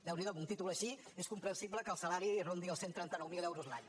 déu n’hi do amb un títol així és comprensible que el salari rondi els cent i trenta nou mil euros l’any